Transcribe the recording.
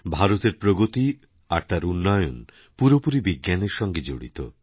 ভারতের প্রগতি আর তার উন্নয়নপুরোপুরি বিজ্ঞানের সঙ্গে জড়িত